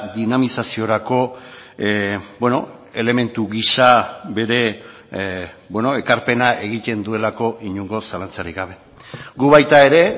dinamizaziorako elementu gisa bere ekarpena egiten duelako inongo zalantzarik gabe gu baita ere